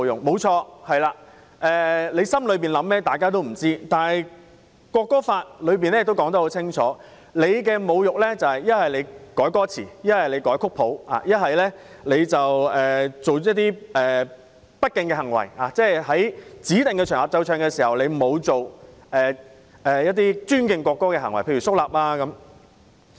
沒錯，心底所想沒人知道，但《條例草案》清楚指出，侮辱國歌指的是篡改歌詞、篡改曲譜或做出不敬行為，例如在指定場合奏唱國歌時，沒有做出尊敬國歌的行為，例如肅立等。